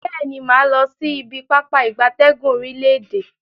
Beeni, maa losi ibi Pápá ìgbatẹ́gùn orile-ede.